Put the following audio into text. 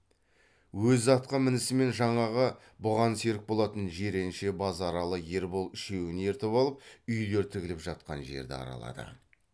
өзі атқа мінісімен жаңағы бұған серік болатын жиренше базаралы ербол үшеуін ертіп алып үйлер тігіліп жатқан жерді аралады